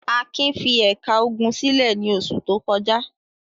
Akin fi ẹ̀ka ogun sílẹ̀ ní oṣù tó kọjá.